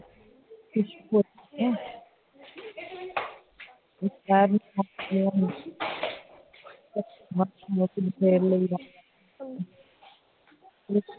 ਦੇਰ ਲਈ